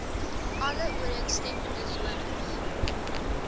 alle ooreenstemmende sones